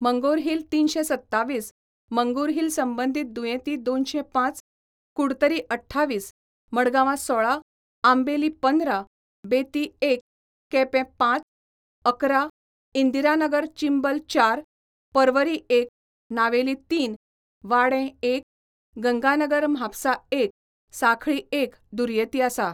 मंगोरहिल तीनशे सत्तावीस, मंगुरहिल संबंधित दुयेंती दोनशे पाच, कुडतरी अठ्ठावीस, मडगावा सोळा, आंबेली पंधरा, बेती एक, केपे पाच, अकरा, इंदिरानगर चिंबल चार, पर्वरी एक, नावेली तीन, वाडे एक, गंगानगर म्हापसा एक, साखळी एक दुयेंती आसा.